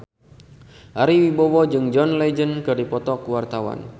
Ari Wibowo jeung John Legend keur dipoto ku wartawan